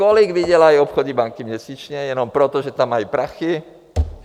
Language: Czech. Kolik vydělají obchodní banky měsíčně jenom proto, že tam mají prachy?